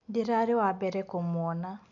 Ndĩrarĩ wa mbere kũmwona.